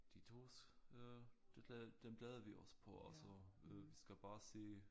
De tos øh det dem glæder vi os på og så øh vi skal bare se